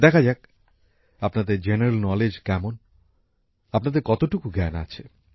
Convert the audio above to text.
দেখা যাক আপনাদের সাধারণ জ্ঞানের পরিধি কেমন আপনাদের কতটুকু জ্ঞান আছে